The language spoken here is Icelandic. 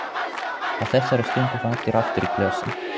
Á þessari stundu fá allir aftur í glösin.